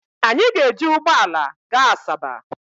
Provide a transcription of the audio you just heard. Anyị ga-eji ụgbọala gaa Asaba.